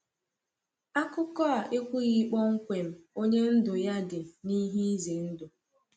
Akụkọ a ekwughị kpọmkwem onye ndụ ya dị n’ihe ize ndụ.